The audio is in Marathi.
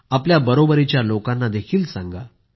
आपल्या बरोबरीच्या लोकांनाही सांगा